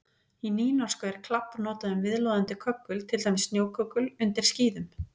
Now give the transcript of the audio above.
Í nýnorsku er klabb notað um viðloðandi köggul, til dæmis snjóköggul undir skíðum.